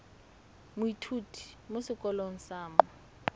moithuti mo sekolong sa mo